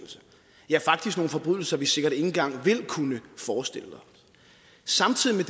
ja faktisk nogle forbrydelser vi sikkert ikke engang vil kunne forestille os samtidig med